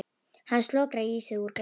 Hann slokrar í sig úr glasinu.